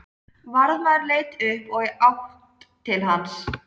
Varðmaður leit upp og í átt til hans.